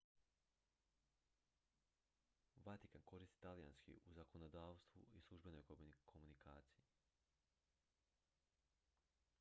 vatikan koristi talijanski u zakonodavstvu i službenoj komunikaciji